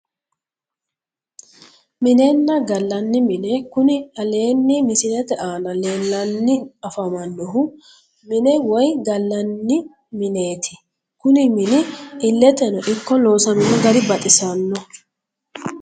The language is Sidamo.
Minenna gallanni mine kuni aleenni misilete aana leellannni afamannohu mine woyi gallanni mineeti kuni mini illeteno ikko loosamino gari baxisannoho